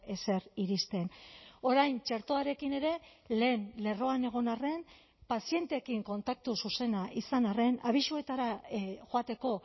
ezer iristen orain txertoarekin ere lehen lerroan egon arren pazienteekin kontaktu zuzena izan arren abisuetara joateko